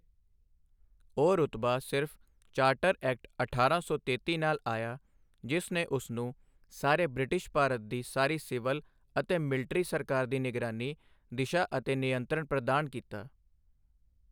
ਉਹ ਰੁਤਬਾ ਸਿਰਫ਼ ਚਾਰਟਰ ਐਕਟ ਅਠਾਰਾਂ ਸੌ ਤੇਤੀ ਨਾਲ ਆਇਆ, ਜਿਸ ਨੇ ਉਸਨੂੰ ਸਾਰੇ ਬ੍ਰਿਟਿਸ਼ ਭਾਰਤ ਦੀ ਸਾਰੀ ਸਿਵਲ ਅਤੇ ਮਿਲਟਰੀ ਸਰਕਾਰ ਦੀ ਨਿਗਰਾਨੀ, ਦਿਸ਼ਾ ਅਤੇ ਨਿਯੰਤਰਣ ਪ੍ਰਦਾਨ ਕੀਤਾ।